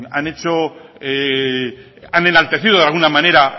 han hecho han enaltecido de alguna manera